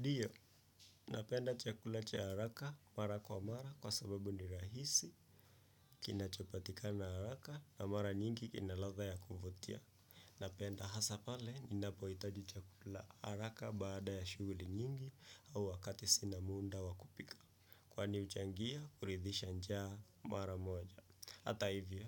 Dio, napenda chakula cha haraka mara kwa mara kwa sababu ni rahisi kinachopatika na haraka na mara nyingi kina latha ya kuvotia. Napenda hasa pale ninapoitaji chakula haraka baada ya shuguli nyingi au wakati sina munda wa kupika. Kwani uchangia kuridhisha njaa mara moja. Hata hivyo,